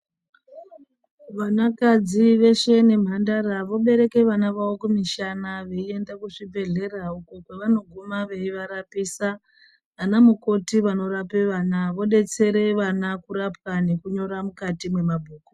Vanakadzi veshe nemhandara vobereke vana vavo kumishana veienda kuzvibhedhlera. Uko kwavanoguma veivarapisa ana mukoti vanorape vana vobetsera vana kurapwa nekunyora mukati mwemabhuku.